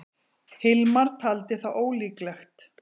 Hilmar taldi það ólíklegt.